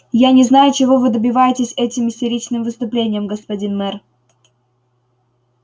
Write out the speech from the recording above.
я не знаю чего вы добиваетесь этим истеричным выступлением господин мэр